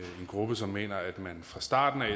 gruppe som mener at man fra starten